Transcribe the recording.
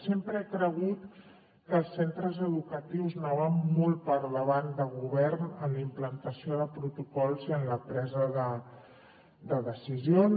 sempre he cregut que els centres educatius anaven molt per davant de govern en la implantació de protocols i en la presa de decisions